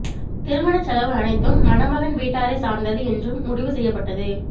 திருமணச் செலவு அனைத்தும் மணமகன் வீட்டாரை சார்ந்தது என்றும் முடிவு செய்யப்பட்டது